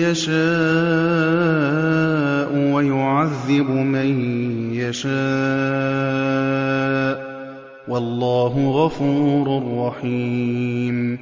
يَشَاءُ وَيُعَذِّبُ مَن يَشَاءُ ۚ وَاللَّهُ غَفُورٌ رَّحِيمٌ